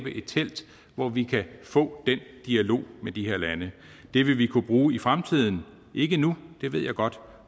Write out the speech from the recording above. et telt hvor vi kan få den dialog med de her lande det vil vi kunne bruge i fremtiden ikke nu det ved jeg godt